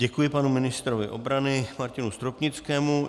Děkuji panu ministrovi obrany Martinu Stropnickému.